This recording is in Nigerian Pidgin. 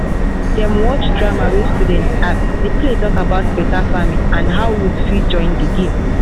dem watch drama wey students act the play talk about better farming and how youth fit join the game.